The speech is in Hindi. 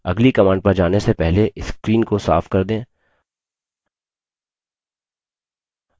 अगली command पर जाने से पहले screen को साफ कर दें